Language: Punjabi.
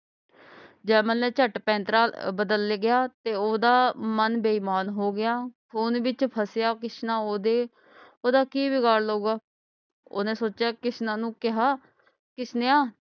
ਜੈਮਲ ਨੇ ਚਟ ਪੈਂਤਰਾ ਬਦਲ ਗਿਆ ਤੇ ਓਹਦਾ ਮੰਨ ਬੇਈਮਾਨ ਹੋ ਗਿਆ ਖੂਨ ਵਿੱਚ ਫਸਿਆ ਕਿਸਨਾ ਓਹਦੇ ਓਹਦਾ ਕਿ ਬਿਗਾੜ ਲਊਗਾ ਓਹਨੇ ਸੋਚਿਆ ਕਿਸਨਾ ਨੂੰ ਕਿਹਾ ਕਿਸਨੇਆ